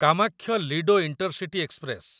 Kamakhya Ledo intercity express